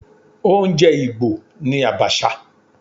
Oúnjẹ Igbo ni Abacha.